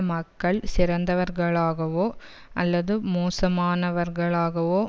மக்கள் சிறந்தவர்களாவோ அல்லது மோசமானவர்களாகவோ